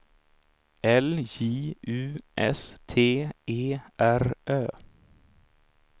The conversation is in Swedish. L J U S T E R Ö